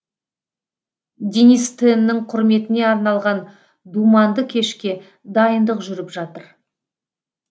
денис теннің құрметіне арналған думанды кешке дайындық жүріп жатыр